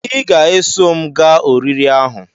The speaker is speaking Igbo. Ị ga-eso m gaa oriri ahu